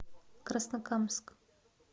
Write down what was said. краснокамск